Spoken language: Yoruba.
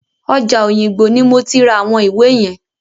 Ọjà Òyìngbò ni mo ti ra àwọn ìwé yẹn.